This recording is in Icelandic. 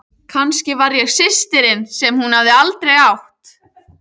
Kannski var ég systirin sem hún hafði aldrei átt.